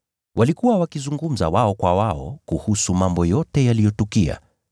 Walikuwa wakizungumza wao kwa wao kuhusu mambo yote yaliyotukia.